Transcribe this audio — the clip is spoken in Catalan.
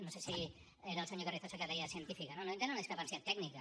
no sé si era el senyor carrizosa que deia científica no no no hi tenen una discrepància tècnica